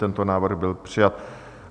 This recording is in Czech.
Tento návrh byl přijat.